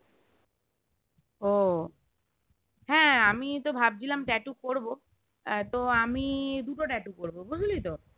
ও হ্যাঁ আমি তো ভাবছিলাম tattoo করবো তো আমি দুটো tattoo করবো বুঝলি তো